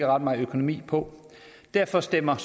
ret meget økonomi på derfor stemmer